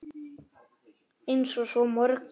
Eins og svo mörgu.